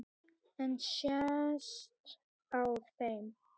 En sést á þeim?